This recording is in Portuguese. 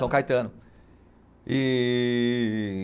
São Caetano. Ee